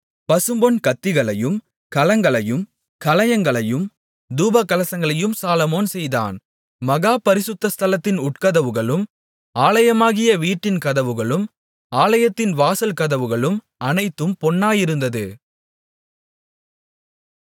பசும்பொன் கத்திகளையும் கலங்களையும் கலயங்களையும் தூபகலசங்களையும் சாலொமோன் செய்தான் மகா பரிசுத்தஸ்தலத்தின் உட்கதவுகளும் ஆலயமாகிய வீட்டின் கதவுகளும் ஆலயத்தின் வாசல் கதவுகளும் அனைத்தும் பொன்னாயிருந்தது